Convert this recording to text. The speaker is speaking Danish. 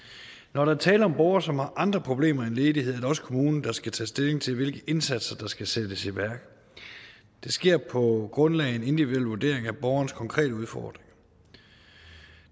når der er tale om borgere som har andre problemer end ledighed er det også kommunen der skal tage stilling til hvilke indsatser der skal sættes i værk det sker på grundlag af en individuel vurdering af borgerens konkrete udfordringer